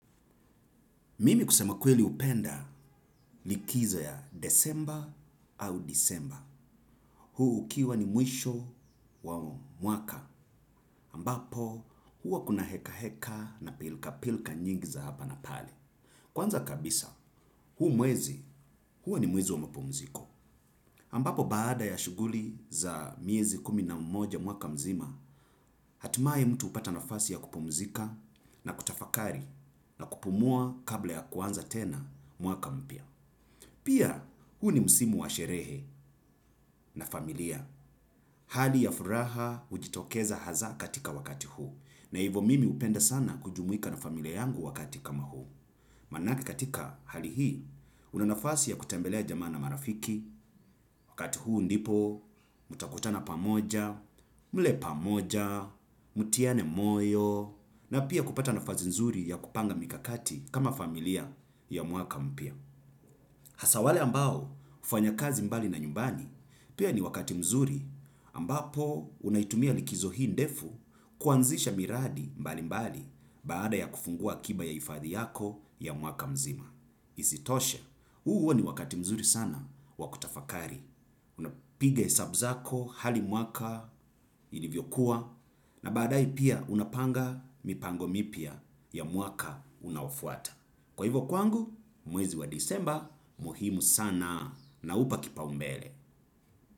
Mimi kusema kweli hupenda likizo ya desemba au disemba. Huu ukiwa ni mwisho wa mwaka ambapo huwa kuna heka heka na pilka pilka nyingi za hapa na pale. Kwanza kabisa, huu mwezi huwa ni mwezi wa mpumziko. Ambapo baada ya shughuli za miezi kumi na moja mwaka mzima, hatimaye mtu hupata nafasi ya kupumzika na kutafakari na kupumua kabla ya kuanza tena mwaka mpya. Pia huu ni msimu wa sherehe na familia. Hali ya furaha hujitokeza hasaa wakati huo. Na hivo mimi hupenda sana kujumuika na familia yangu wakati kama huu. Manake katika hali hii una nafasi ya kutembelea jamaa na marafiki wakati huu ndipo mtakutana pamoja mle pamoja mutiane moyo na pia kupata nafasi nzuri ya kupanga mikakati kama familia ya mwaka mpya. Hasa wale ambao hufanya kazi mbali na nyumbani pia ni wakati mzuri ambapo unaitumia likizo hii ndefu kuanzisha miradi mbali mbali baada ya kufungua kiba ya ifadhi yako ya mwaka mzima. Isitoshe, huu huwa ni wakati mzuri sana wa kutafakari. Unapiga hesabu zako hali mwaka ilivyokuwa na baadaye pia unapanga mipango mipya ya mwaka unaofuata. Kwa hivyo kwangu mwezi wa disemba muhimu sana na upa kipaumbele.